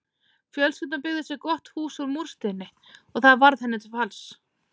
Fjölskyldan byggði sér gott hús úr múrsteini og það varð henni til falls.